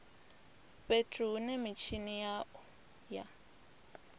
fhethu hune mitshini ya u